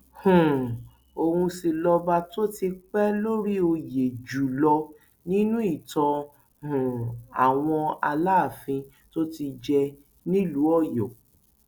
um òun sì lọba tó pẹ lórí òye jù lọ nínú ìtàn um àwọn aláàfin tó ti jẹ nílùú ọyọ